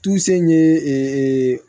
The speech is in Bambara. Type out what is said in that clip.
Tse in ye ee